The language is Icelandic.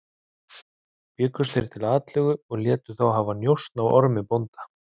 Bjuggust þeir til atlögu og létu hafa njósn á Ormi bónda.